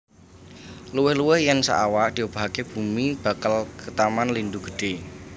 Luwih luwih yèn saawak diobahaké bumi bakal ketaman lindhu gedhé